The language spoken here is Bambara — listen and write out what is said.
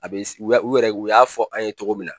A bɛ u y'a u yɛrɛ u y'a fɔ an ye cogo min na.